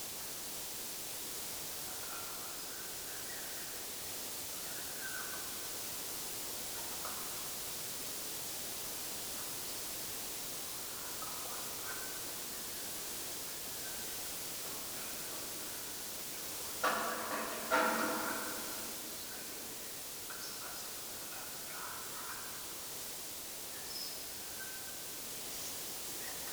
ሰባት ኣብ ወሰን ጽርግያ ኮፍ ኢሎም ዝተፈላለዩ ኣሕምልትን ኣቑፅልትን ሒዞም፡ ኣብ ጎኖም ዓበይቲ መዳበርያታት ተደራሪቦም ይረኣዩ። ልሙድ ናይ ዕዳጋ መዓልቲ እዩ ዘርኢ፣ ምንቅስቓስ ህይወት ኣብ ብርሃን መዓልቲ ይስመዓካ።